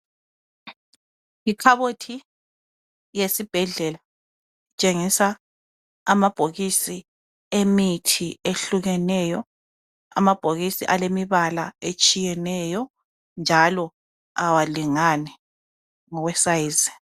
Yikhabothi yesibhendlela etshengisa amabhokisi emithi ehlukeneyo. Amabhokisi alemibala etshiyeneyo njalo awalingani ngokwesize.